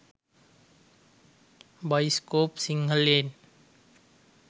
෴bioscope සිංහලෙන්෴